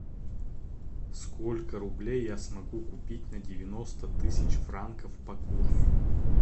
сколько рублей я смогу купить на девяносто тысяч франков по курсу